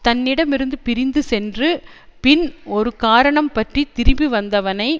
தன்னிடமிருந்து பிரிந்து சென்று பின் ஒரு காரணம்பற்றித் திரும்பிவந்தவனை